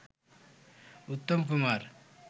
Uttam Kumar